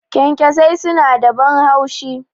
Kyankyasai suna da ban haushi.